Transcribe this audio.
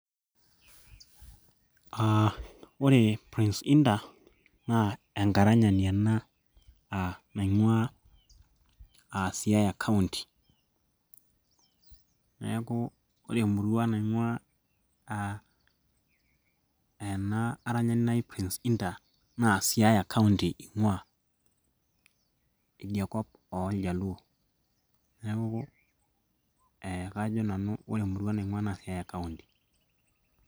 uh, ore prince indah naa enkaranyani ena uh, naing'ua uh, siaya county neeku ore emurua naing'ua ena aranyani naji prince indah naa siaya county ing'ua idiakop oljaluo neeku eh, kajo nanu ore emurua naing'ua naa siaya county.